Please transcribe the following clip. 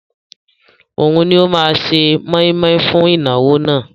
Òun ni ó máa se mọ́ímọ́í fún ìnáwó náà